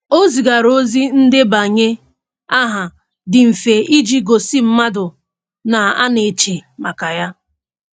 O zigara ozi ndebanye aha dị mfe iji gosi mmadụ na a na-eche maka ya.